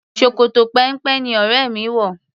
Ṣòkòtò péńpé ni ọrẹ mi wò.